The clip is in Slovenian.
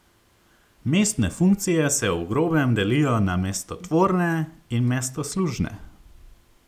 Mestne funkcije se v grobem delijo na mestotvorne in mestoslužne.